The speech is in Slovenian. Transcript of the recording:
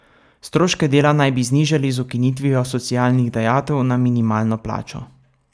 Stroške dela naj bi znižali z ukinitvijo socialnih dajatev na minimalno plačo.